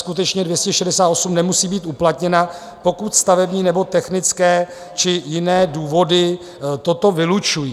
Skutečně 268 nemusí být uplatněna, pokud stavební nebo technické či jiné důvody toto vylučují.